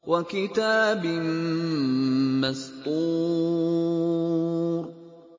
وَكِتَابٍ مَّسْطُورٍ